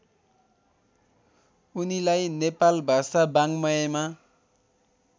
उनीलाई नेपालभाषा वाङ्मयमा